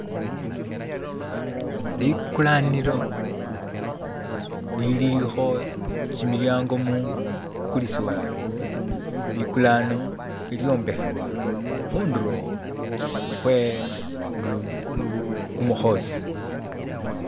likulanilo liliho kyimilyango mukulisiwa bikulano ilyombehewa hunduro hwe kumuhosi